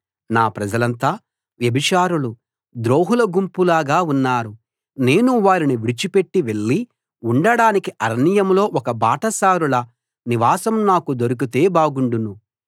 నా ప్రజలంతా వ్యభిచారులు ద్రోహుల గుంపులాగా ఉన్నారు నేను వారిని విడిచిపెట్టి వెళ్లి ఉండడానికి అరణ్యంలో ఒక బాటసారుల నివాసం నాకు దొరికితే బాగుండును